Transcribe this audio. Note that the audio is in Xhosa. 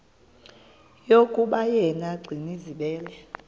yokuba yena gcinizibele